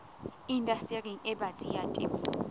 indastering e batsi ya temo